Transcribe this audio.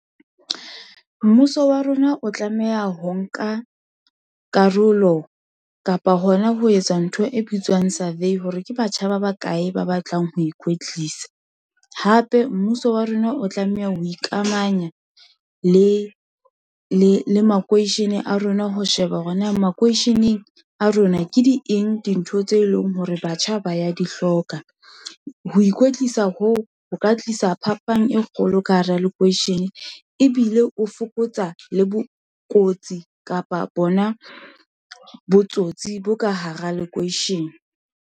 Mmuso wa rona o tlameha ho nka karolo, kapa hona ho etsa ntho e bitswang survey, hore ke batjha ba bakae ba batlang ho ikwetlisa, hape mmuso wa rona o tlameha ho ikamanya le makeishene a rona, ho sheba hore na makweisheneng a rona, ke di eng dintho tse leng hore batjha ba ya dihloka. Ho ikwetlisa hoo, ho ka tlisa sa phapang e kgolo ka hara lekweishene, ebile o fokotsa le bokotsi, kapa bona botsotsi bo ka hara lekweishene.